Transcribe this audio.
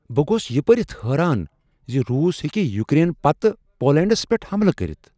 بہ گوس یہ پٔرتھ حیران ز روس ہیکہِ یوکرین پتہٕ پولینڈس پیٹھ حملہٕ کٔرتھ۔